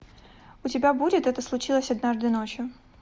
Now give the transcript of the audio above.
у тебя будет это случилось однажды ночью